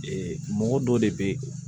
mɔgɔ dɔ de bɛ ye